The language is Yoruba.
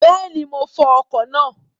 Bẹ́ẹ̀ni, mo fọ ọkọ̀ náà